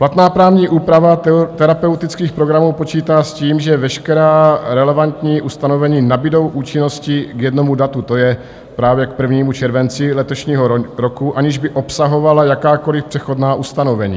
Platná právní úprava terapeutických programů počítá s tím, že veškerá relevantní ustanovení nabudou účinnosti k jednomu datu, to je právě k 1. červenci letošního roku, aniž by obsahovala jakákoli přechodná ustanovení.